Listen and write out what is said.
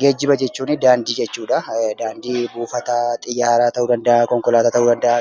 Geejiba jechuun daandii jechuudha. Daandii Buufata Xiyyaaraa ta'uu danda'aa, Buufata Konkolaataa ta'uu danda'aa.